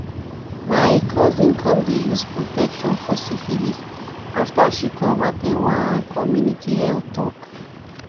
my cousin come the use protection for syphilis after she come at ten d one community health talk